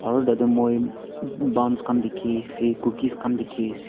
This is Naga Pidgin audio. aru tatae moi buns khan dikhiase cookies khan dikhiase.